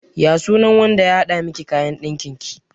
Ya sunan wanda ya haɗa miki kayan ɗakin ki?